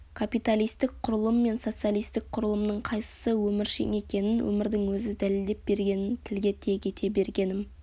капиталистік құрылым мен социалистік құрылымның қайсысы өміршең екенін өмірдің өзі дәлелдеп бергенін тілге тиек ете бергенім